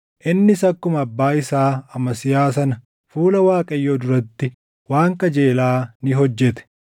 Innis akkuma abbaa isaa Amasiyaa sana fuula Waaqayyoo duratti waan qajeelaa ni hojjete.